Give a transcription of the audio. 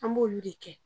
An b'olu de kɛ